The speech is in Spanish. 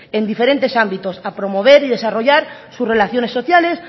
en diferentes ámbitos a promover y desarrollar sus relaciones sociales